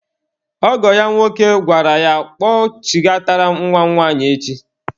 Ọgọ ya nwoke gwara ya, kpọchighatara m nwa m nwanyị echi!